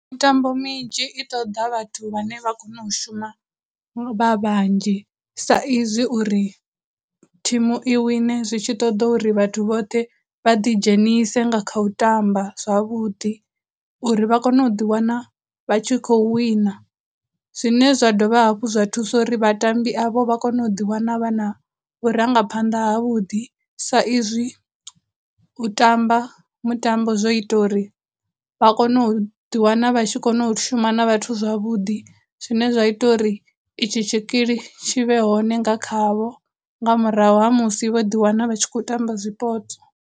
Mitambo minzhi i ṱoḓa vhathu vhane vha kona u shuma vha vhanzhi sa izwi uri, thimu i wine zwi tshi ṱoda uri vhathu vhoṱhe vha ḓi dzhenise nga kha u tamba zwavhuḓi, uri vha kone u ḓi wana vha tshi khou wina. Zwine zwa dovha hafhu zwa thusa uri vhatambi avho vha kone u ḓiwana vha na vhurangaphanḓa ha vhuḓi sa izwi u tamba mutambo zwo ita uri vha u kono u ḓi wana vha tshi kona u shuma na vhathu zwavhuḓi, zwine zwa ita uri i tshi tshikili tshi vhe hone nga khavho nga murahu ha musi vho ḓi wana vha tshi khou tamba zwipotso.